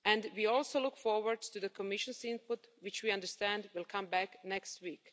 We also look forward to the Commission's input, which we understand will come back next week.